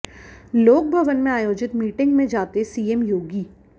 लोकभवन में आयोजित मीटिंग में जाते सीएम योगी